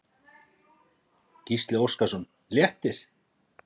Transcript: Gísli Óskarsson: Léttir?